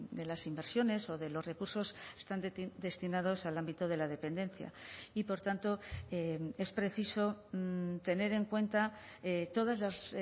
de las inversiones o de los recursos están destinados al ámbito de la dependencia y por tanto es preciso tener en cuenta todas las